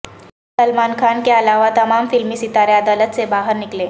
سلمان خان کے علاوہ تمام فلمی ستارے عدالت سے باہر نکلے